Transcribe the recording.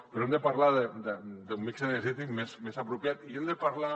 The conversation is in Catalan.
però hem de parlar d’un mix energètic més apropiat i hem de parlar